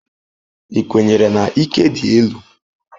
Ị kwenyere na ike dị elu?